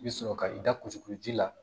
I bɛ sɔrɔ ka i da kusiku ji la